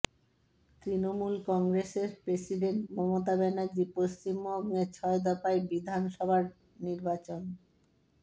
তৃণমূল কংগ্রেসের প্রেসিডেন্ট মমতা ব্যানার্জী পশ্চিমবঙ্গে ছয় দফায় বিধান সভার নির্বাচন